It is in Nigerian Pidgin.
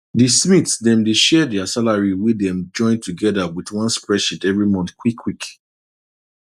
di smiths dem dey share dia salary wey dem join togeda wit one spreadsheet every month quick quick